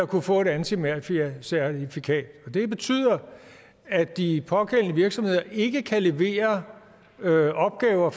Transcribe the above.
kunne få antimafiacertifikat og det betyder at de pågældende virksomheder ikke kan levere opgaver